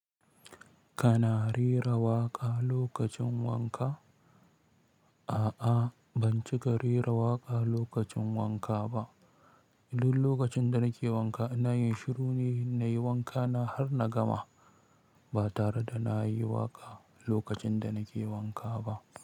Kana rera waƙa lokacin wanka? A'a, ban cika rera waƙa lokacin wanka ba. Duk lokacin da nake wanka ina yin shiru ne, nayi wankana har na gama ba tare da na yi waƙa lokacin da nake wanka ba.